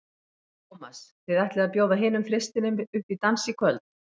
Tómas, þið ætlið að bjóða hinum þristinum upp í dans í kvöld?